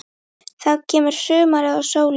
Þá kemur sumarið og sólin.